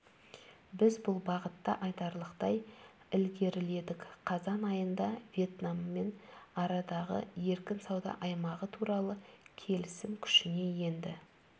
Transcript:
біз бұл бағытта айтарлықтай ілгеріледік қазан айында вьетнаммен арадағы еркін сауда аймағы туралы келісім күшіне енді